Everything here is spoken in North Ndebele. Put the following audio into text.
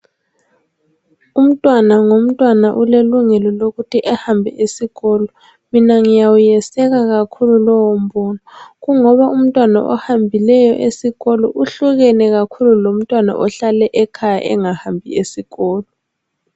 Umntwana ngomntwana ulelungelo lokuthi ehambe esikolo. Mina ngiyawuyeseka kakhulu lowo mbono, kungoba umntwana ohambileyo esikolo uhlukene kakhulu lomntwana ohlale ekhaya engahambi esikolo.